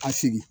Ka sigi